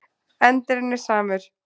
Endirinn er samur.